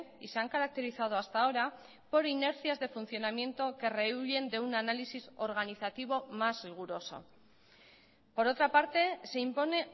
y se han caracterizado hasta ahora por inercias de funcionamiento que rehuyen de un análisis organizativo más riguroso por otra parte se impone